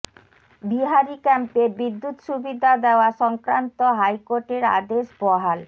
বিহারি ক্যাম্পে বিদ্যুৎ সুবিধা দেওয়া সংক্রান্ত হাইকোর্টের আদেশ বহাল